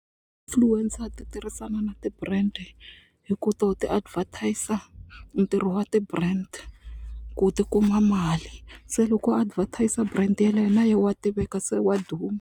Influencer ti tirhisana na ti-brand hi ku to ti advertiser ntirho wa ti-brand ku ti kuma mali se loko a advertiser brand yeleyo na ye wa tiveka se wa duma.